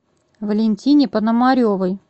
валентине пономаревой